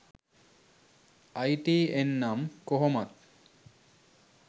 අයි T N නම් කොහොමත්